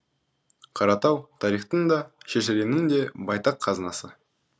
қаратау тарихтың да шежіренің де байтақ қазынасы